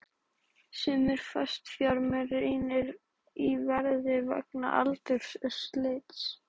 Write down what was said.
Sumir fastafjármunir rýrna í verði vegna aldurs og slits.